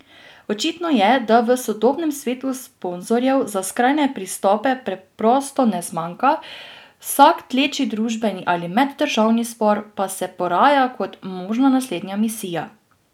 Očitno je, da v sodobnem svetu sponzorjev za skrajne pristope preprosto ne zmanjka, vsak tleči družbeni ali meddržavni spor pa se poraja kot možna naslednja misija.